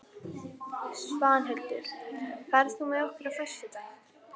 Svanhildur, ferð þú með okkur á föstudaginn?